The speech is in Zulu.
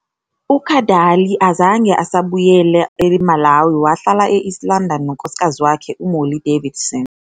UKadalie azange asabuyele eMalawi, wahlala e-East London nonkosikazi wakhe uMolly Davidson.